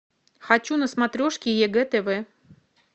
хочу на смотрешке егэ тв